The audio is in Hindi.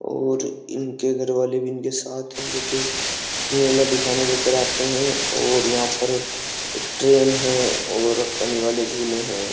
और इनके घर वाले भी इनके साथ हैं जो कि मेला दिखाने लेकर आते हैं और यहाँ पर एक ट्रेन है और पानी वाले झूले हैं।